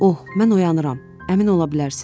Oh, mən oyanıram, əmin ola bilərsiniz.